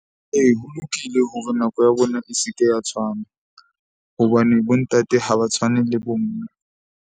Ee, ho lokile hore nako ya bona e se ke ya tshwana, hobane bo ntate ha ba tshwane le bo mme.